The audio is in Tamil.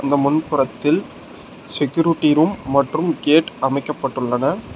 இந்த முன் புறத்தில் செக்யூரிட்டி ரூம் மற்றும் கேட் அமைக்கப்பட்டுள்ளன.